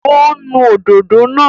Ó ń nu òdòdó náà